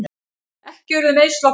Ekki urðu meiðsl á fólki